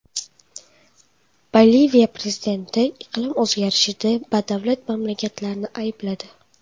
Boliviya prezidenti iqlim o‘zgarishida badavlat mamlakatlarni aybladi.